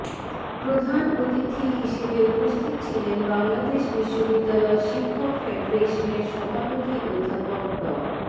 প্রধান অতিথি হিসেবে উপস্থিত ছিলেন বাংলাদেশ বিশ্ববিদ্যালয় শিক্ষক ফেডারেশনের সভাপতি অধ্যাপক ড